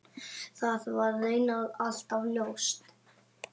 Það var raunar alltaf ljóst.